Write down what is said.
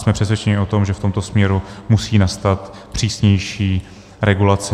Jsme přesvědčeni o tom, že v tomto směru musí nastat přísnější regulace.